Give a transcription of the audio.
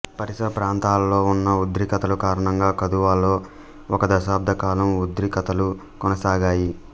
పరిసర ప్రాంతాలలో ఉన్న ఉద్రిక్తతల కారణంగా కథువాలో ఒక దశాబ్ధకాలం ఉద్రిక్తతలు కొనసాగాయి